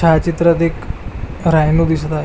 छायाचित्रात एक रायनू दिसत आहे.